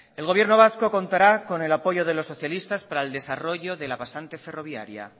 el gobierno vasco contará con el apoyo de los socialistas para el desarrollo de la pasante ferroviaria